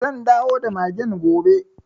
Zan dawo da magen gobe.